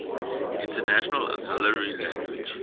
international auxiliary language